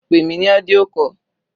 Pè mí ní audio call.